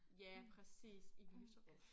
Ja præcis i lyserød